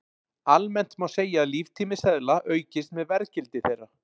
Almennt má segja að líftími seðla aukist með verðgildi þeirra.